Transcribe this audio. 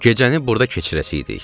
Gecəni burda keçirəcəkdik.